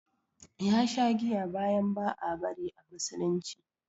Ya sha giya bayan ba a bari a musulunci